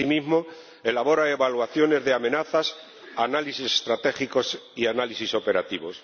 Asimismo, elabora evaluaciones de amenazas, análisis estratégicos y análisis operativos